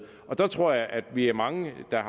der tror jeg at vi er mange der